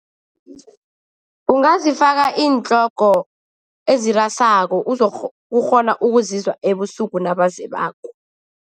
Ungazifaka iintlogo ezirasako, uzokukghona ukuzizwa ebusuku nabazebako.